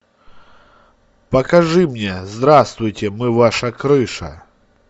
покажи мне здравствуйте мы ваша крыша